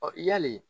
yali